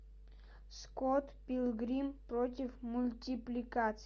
скотт пилигрим против мультипликации